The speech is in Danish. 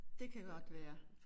Det kan godt være